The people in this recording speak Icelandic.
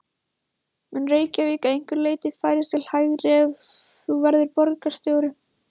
Mun Reykjavík að einhverju leyti færast til hægri ef þú verður borgarstjóri?